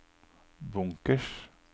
bunkers